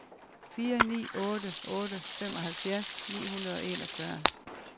fire ni otte otte femoghalvfjerds ni hundrede og enogfyrre